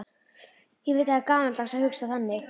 Ég veit að það er gamaldags að hugsa þannig.